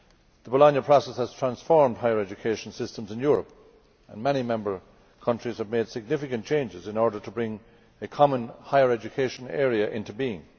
The Bologna Process has transformed higher education systems in Europe, and many member countries have made significant changes in order to bring a common higher education area into being.